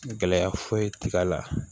Gɛlɛya foyi ti k'a la